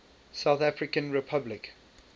south african republic